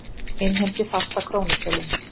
Innheimti fasta krónutölu